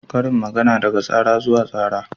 Karin magana daga tsara zuwa tsara.